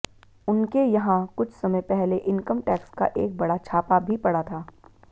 उनके यहां कुछ समय पहले इनकम टैक्स का एक बड़ा छापा भी पड़ा था